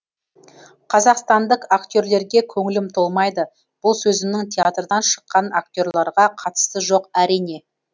қазақстандық актерлерге көңілім толмайды бұл сөзімнің театрдан шыққан актерларға қатысы жоқ әрине